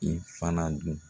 I fana dun